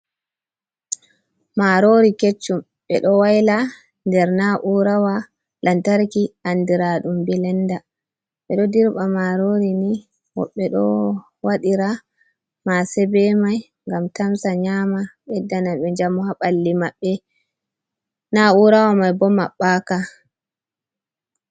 Marori keccum ɓeɗo waila nder na'urawa lantarki andiraɗum bilenda. Ɓeɗo dirɓa marori ni woɓɓe ɗo waɗira mase be mai ngam tamsa nyama ɓedda na ɓe njamu haɓalli maɓɓe. Na'urawa mai bo maɓɓaka.